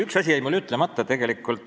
Üks asi jäi mul tegelikult enne ütlemata.